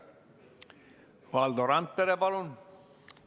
Valdo Randpere, palun!